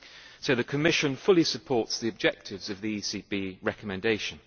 So the Commission fully supports the objectives of the ECB recommendation.